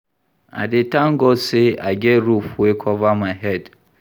I dey thank God sey I get roof wey cover my head.